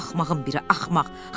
Axmağın biri axmaq.